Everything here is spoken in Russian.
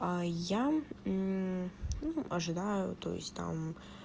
а я ну ожидаю то есть там